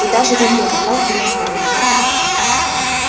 и даже ремней на палке не оставили